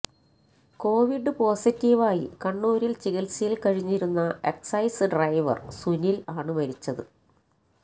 Covid പോസിറ്റീവായി കണ്ണൂരില് ചികിത്സയില് കഴിഞ്ഞിരുന്ന എക്സൈസ് ഡ്രൈവര് സുനില് ആണ് മരിച്ചത്